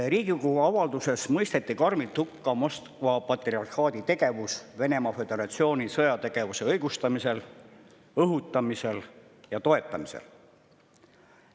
Riigikogu avalduses mõisteti karmilt hukka Moskva patriarhaadi tegevus Venemaa Föderatsiooni sõjategevuse õigustamisel, õhutamisel ja toetamisel.